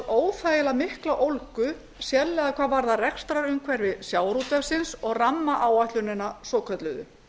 óþægilega mikla ólgu sérstaklega hvað varðar rekstrarumhverfi sjávarútvegsins og rammaáætlunina svokölluðu